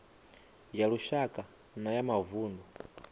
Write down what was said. ya lushaka na ya mavunḓu